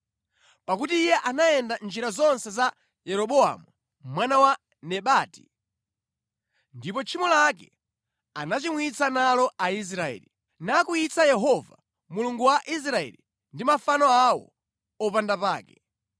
Pakuti iye anayenda mʼnjira zonse za Yeroboamu mwana wa Nebati, ndipo tchimo lake anachimwitsa nalo Aisraeli, nakwiyitsa Yehova Mulungu wa Israeli ndi mafano awo opandapake.